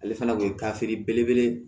Ale fana kun ye gafe belebele ye